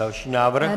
Další návrh.